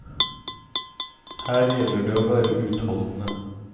Her gjelder det å være utholdende.